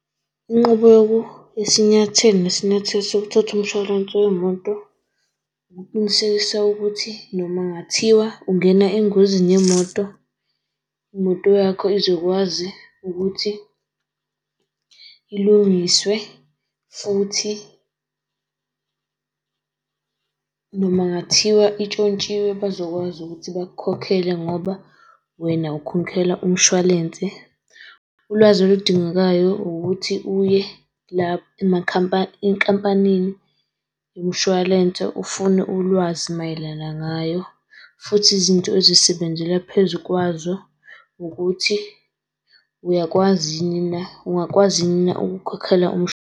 Inqobo yoku yesinyathelo nesinyathelo, sokuthatha umshwarense wemoto ukuqinisekisa ukuthi noma ngathiwa ungena engozini yemoto imoto yakho izokwazi ukuthi ilungiswe futhi noma ngathiwa itshotshiwe bazokwazi ukuthi bakukhokhele ngoba wena ukhokhela umshwalense. Ulwazi oludingakayo ukuthi uye lapha enkampanini yomshwalense ufune ulwazi mayelana ngayo futhi izinto ezisebenzela phezu kwazo ukuthi uyakwazi yini na, ungakwazi yini na ukukhokhela .